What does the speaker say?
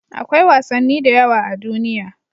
Akwai wasanni da yawa a duniya.